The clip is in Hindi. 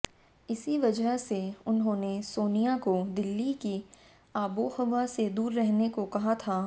इसी वजह से उन्होंने सोनिया को दिल्ली की आबोहवा से दूर रहने को कहा था